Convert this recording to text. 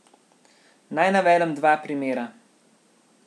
Naj navedem dva primera.